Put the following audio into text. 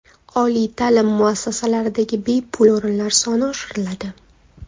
Oliy ta’lim muassasalaridagi bepul o‘rinlar soni oshiriladi.